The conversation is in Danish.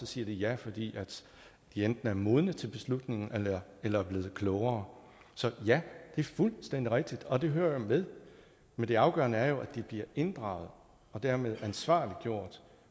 siger ja fordi de enten er modne til beslutningen eller er blevet klogere så ja det er fuldstændig rigtigt og det hører jo med men det afgørende er jo at de bliver inddraget og dermed ansvarliggjort